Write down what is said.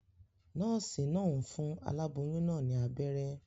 Nòòsì naa n fun aláboyún naa ní abéré